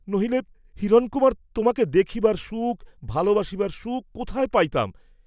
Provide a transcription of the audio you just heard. নহিলে হিরণকুমার, তোমাকে দেখিবার সুখ, ভালবাসিবার সুখ কোথায় পাইতাম?